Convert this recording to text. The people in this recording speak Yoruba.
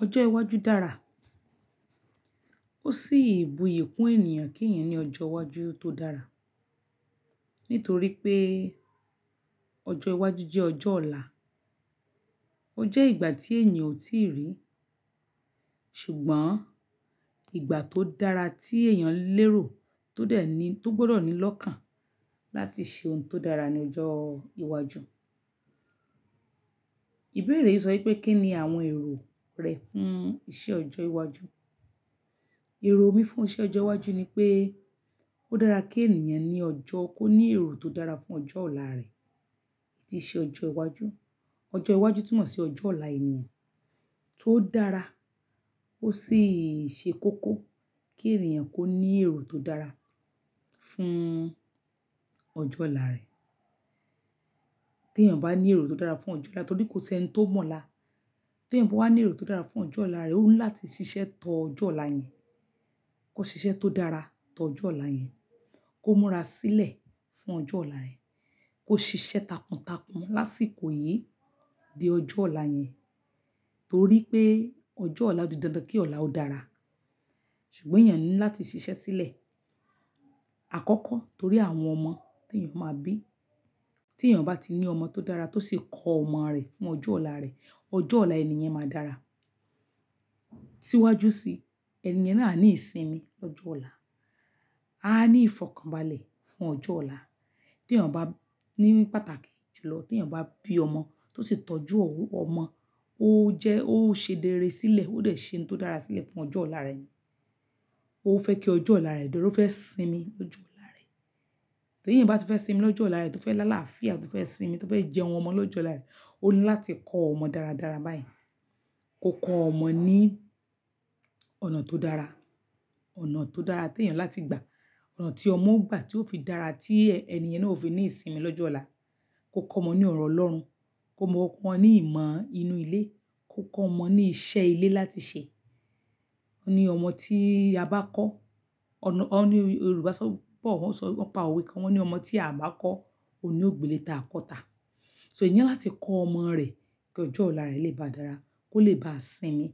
Ọjọ́ iwájú dára. Ó sì buyì kún ènìyàn kí èèyàn ní ọjọ́ iwájú tó dára. Nítorí pé ọjọ́ iwájú jẹ́ ọjọ́ ọ̀la, ó jẹ́ ìgbà tí ènìyàn ò tíì rí. Ṣùgbọ́n ìgbà tó dára tí èèyàn lérò tó dẹ̀ ní, tó gbọ́dọ̀ ní lọ́kàn láti ṣe ohun tó dára ní ọjọ́ iwájú. Ìbéèrè yi sọ wipé kí ni àwọn èrò rẹ fún ìṣe ọjọ́ iwájú. Èrò mi fún iṣẹ́ ọjọ́ iwájú ni pé ó dára kí ènìyàn ní ọjọ́ kó ní èrò tó dára fún ọjọ́ ọ̀la rẹ̀. Tí i ṣẹ ọjọ́ iwájú, ọjọ́ iwájú túmọ̀ sí ọjọ́ ọ̀la ènìyàn tó dára ó sì ṣe kókó kí ènìyàn kó ní èrò tó dára fún ọjọ́ ọ̀la rẹ̀. Tí èèyàn bá ní èrò tó dára fún ọjọ́ ọ̀la, torí kò sí ẹni tó mọ̀ ọ́la. Tí èèyàn bá wà ní èrò tó dára fún ọjọ́ ọ̀la rẹ̀, ó ní láti ṣiṣẹ́ tó ọjọ́ ọ̀la yẹn. Kó ṣiṣẹ́ tó dára tó ọjọ́ ọ̀la yẹn. Kó múra sílẹ̀ fún ọjọ́ ọ̀la rẹ̀. Kó ṣiṣẹ́ takuntakun lásìkò yìí di ọjọ́ ọ̀la yẹn. Torí pé ọjọ́ ọ̀la odi dandan kí ọ̀la ó dára. Ṣùgbọ́n èèyàn ní láti ṣiṣẹ́ sílẹ̀ àkọ́kọ́ torí àwọn ọmọ tí èèyàn máa bí. Tí èèyàn bá ti ní ọmọ tó dára tó sì kọ ọmọ rẹ̀ fún ọjọ́ ọ̀la rẹ̀, ọjọ́ ọ̀la ẹni yẹn máa dára. Síwájú sí ẹni yẹn náà a ní ìsinmi lọ́jọ́ ọ̀la. A ní ìfọ̀kànbalẹ̀ fún ọjọ́ ọ̀la. Tí èèyàn bá ní pàtàkì jùlọ tí èèyàn bá bí ọmọ tó sì tọ́jú ọmọ, ó jẹ́, ó ṣe rere sílẹ̀, ó dẹ̀ ṣe ohun tó dára sílẹ̀ fún ọjọ́ ọ̀la rẹ̀ ni. Ó fẹ́ kí ọjọ́ ọ̀la rẹ̀ dùn, ó fẹ́ sinmi lọ́jọ́ ọ̀la rẹ̀. Tí èèyàn bá fẹ́ sinmi lọ́jọ́ ọ̀la rẹ̀ tó fẹ́ lá àlàáfíà, tó fẹ́ sinmi, tó fẹ́ jẹun ọmọ lọ́jọ́ ọ̀la rẹ̀, ó ní láti kọ́ ọmọ dáradára báyìí. Kó kọ ọmọ ní ọ̀nà tó dára, ọ̀nà tó dára tí èèyàn láti gbà. Ọ̀nà tí ọmọ ó gbà tí ó fi dára tí ẹni yẹn náà ó fi ní ìsinmi lọ́jọ́ ọ̀la. Kó kọ ọmọ ní ọ̀rọ̀ Ọlọ́run, kó mọ kọ ní ìmọ̀ inú ilé, kó kọ ọmọ ní iṣẹ́ ilé láti ṣe. Ó ní ọmọ tí a bá kọ́, ọ̀nà, ó ní Yorùbá sọ, bọ̀ wọ́n sọ, wọ́n pa òwe kan wọ́n ni ọmọ tí a bá kọ́ òní ò gbele ta a kọ́ tà. So èèyàn ní láti kọ ọmọ rẹ̀ kí ọjọ́ ọ̀la rẹ̀ lè ba dára, kó lè bá sinmi